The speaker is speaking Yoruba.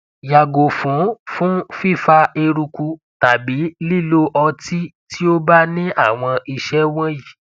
yàgo fun fun fifa eruku tàbí lílo ọtí tí ó bá ní àwọn ìṣe wọnyí